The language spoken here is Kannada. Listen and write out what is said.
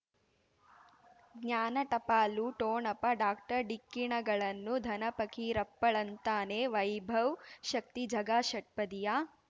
ಜ್ಞಾನ ಟಪಾಲು ಠೋಣಪ ಡಾಕ್ಟರ್ ಢಿಕ್ಕಿ ಣಗಳನು ಧನ ಫಕೀರಪ್ಪ ಳಂತಾನೆ ವೈಭವ್ ಶಕ್ತಿ ಝಗಾ ಷಟ್ಪದಿಯ